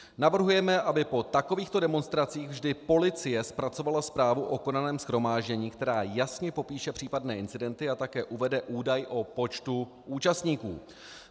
Navrhujeme, aby po takovýchto demonstracích vždy policie zpracovala zprávu o konaném shromáždění, která jasně popíše případné incidenty a také uvede údaj o počtu účastníků.